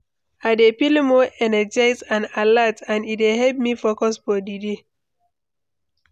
I dey feel more energized and alert, and e dey help me focus for di day.